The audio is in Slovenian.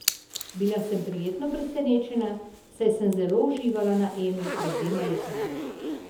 Bila sem prijetno presenečena, saj sem zelo uživala na Emi pred dvema letoma.